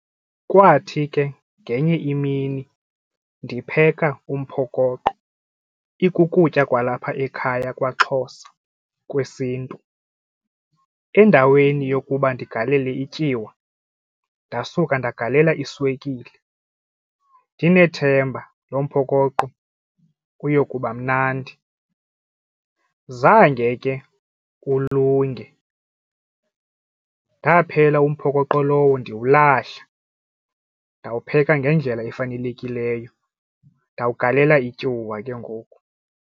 Kwathi ke ngenye imini ndipheka umphokoqo ikukutya kwalapha ekhaya kwaXhosa kwesiNtu endaweni yokuba ndigalele ityiwa ndasuke ndagalela iswekile ndinethemba lo mphokoqo uyokuba mnandi. Zange ke ulunge ndaphela umphokoqo lowo ndiwulahla ndawupheka ngendlela efanelekileyo ndawugalela ityuwa ke ngoku.